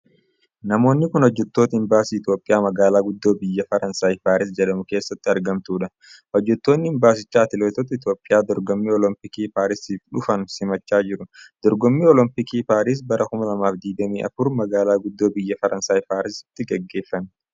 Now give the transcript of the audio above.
Namoonni kun, hojjattoota imbaasii Itoophiyaa magaalaa guddoo biyya Faransaay Paaris jedhamu keessatti argamtuu dha. Hojjattoonni imbaasicha atileetota Itoophiyaa dorgommii olompiikii paarisiif dhufan simachaa jiru. Dorgommiin olompiikii Paaris, bara 2024 ,magaalaa guddoo biyya Faransaay Paarisitti gaggeeffame.